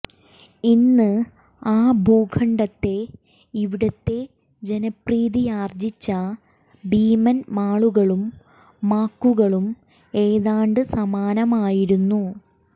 ഇന്ന് ആ ഭൂഖണ്ഡത്തെ ഇവിടത്തെ ജനപ്രീതിയാർജ്ജിച്ച ഭീമൻ മാളുകളും മാക്കുകളും ഏതാണ്ട് സമാനമായിരുന്നു